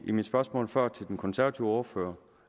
i mit spørgsmål før til den konservative ordfører